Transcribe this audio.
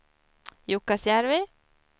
Jukkasjärvi